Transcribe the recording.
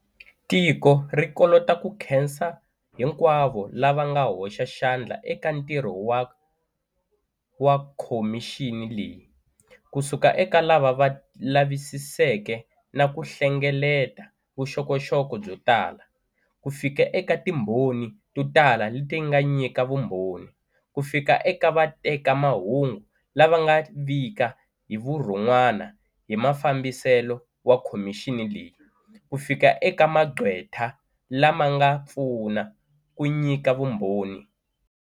Tiko ri kolota ku khensa hinkwavo lava nga hoxa xandla eka ntirho wa kho mixini leyi, kusuka eka lava va lavisiseke na ku hlengeleta voxokoxoko byo tala, kufika eka timbhoni to tala leti nga nyika vumbhoni, kufika eka vatekamahungu lava va nga vika hi vurhonwana hi mafambiselo wa khomixini leyi, kufika eka magqweta lama nga pfuna ku nyika vumbhoni.